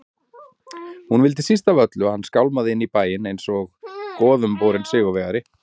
Hún vildi síst af öllu að hann skálmaði inn í bæinn einsog goðumborinn sigurvegari.